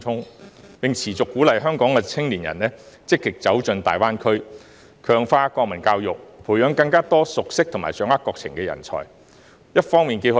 特區政府亦應持續鼓勵香港青年積極走進大灣區，強化國民教育，培養更多熟悉和掌握國情的人才。